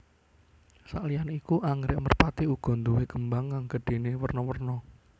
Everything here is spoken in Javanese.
Sakliyané iku anggrèk merpati uga nduwé kembang kang gedhéné werna werna